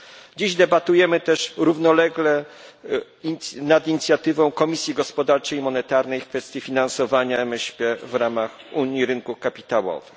Dziś debatujemy też równolegle nad inicjatywą Komisji Gospodarczej i Monetarnej w kwestii finansowania MŚP w ramach unii rynków kapitałowych.